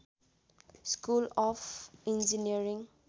school of engineering